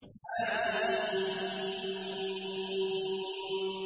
حم